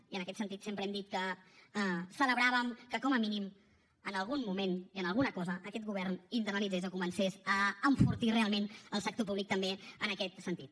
i en aquest sentit sempre hem dit que celebràvem que com a mínim en algun moment i en alguna cosa aquest govern internalitzés o comencés a enfortir realment el sector públic també en aquest sentit